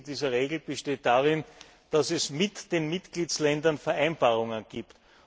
Das Wesen dieser Regeln besteht darin, dass es mit den Mitgliedsländern Vereinbarungen gibt.